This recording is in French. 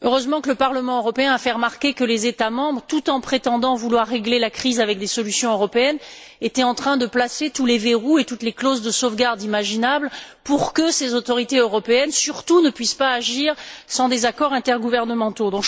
il est heureux que le Parlement européen ait fait remarquer que les États membres, tout en prétendant vouloir régler la crise avec des solutions européennes, étaient en train de placer tous les verrous et toutes les clauses de sauvegarde imaginables pour que ces autorités européennes ne puissent surtout pas agir sans des accords intergouvernementaux.